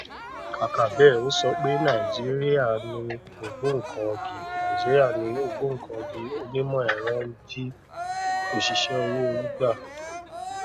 kàkà bẹẹ ó sọ pé nàìjíríà ni ògbóǹkangí nàìjíríà ni ògbóǹkangí onímọ ẹrọ ń jí òṣìṣẹ owó orí gbà